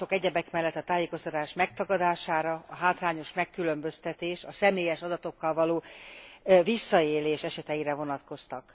A panaszok egyebek mellett a tájékoztatás megtagadására, a hátrányos megkülönböztetés, a személyes adatokkal való visszaélés eseteire vonatkoztak.